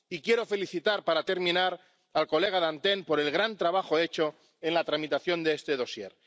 Y quiero felicitar, para terminar, al señor Dantin, por el gran trabajo hecho en la tramitación de este dosier.